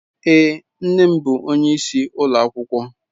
Èé, nne m bụ onyeisi ụlọ akwụkwọ.